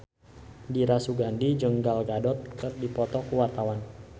Dira Sugandi jeung Gal Gadot keur dipoto ku wartawan